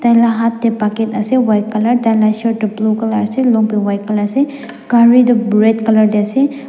tailaga hat tae bucket asa white colour taila laga shirt toh blue colour asa long paint white colour asa gari toh red colour tae asa.